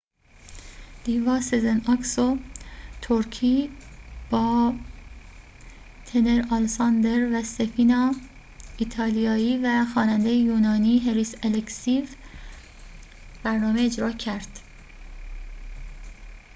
دیوا سزن آکسو ترکی با تنر آلساندرو سفینا ایتالیایی و خواننده یونانی هریس الکسیو برنامه اجرا کرد